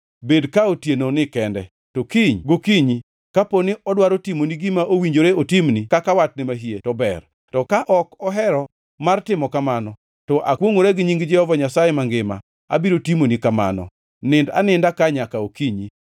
Bed ka otienoni kende, to kiny gokinyi, kapo ni odwaro timoni gima owinjore otimni kaka watne mahie, to ber. To ka ok ohero mar timo kamano, to akwongʼora gi nying Jehova Nyasaye mangima, abiro timoni kamano. Nind aninda ka nyaka okinyi.”